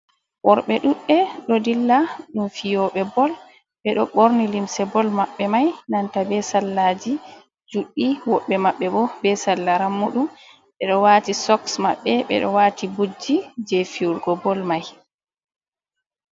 Worɓe ɗuɗɗe ɗo dilla ɗum fiyoɓe bol, ɓe ɗo ɓorni limse bol maɓɓe mai, nanta be sallaji juɗɗi, woɓɓe maɓɓe bo be salla rammuɗum, ɓe do wati soks maɓɓe, ɓe ɗo wati butji je fiwurgo bol mai.